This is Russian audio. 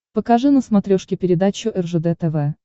покажи на смотрешке передачу ржд тв